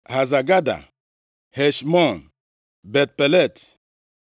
Haza Gada, Heshmọn, Bet-Pelet,